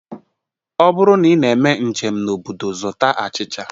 Ọ bụrụ na ị na-eme njem n'obodo, zụta achịcha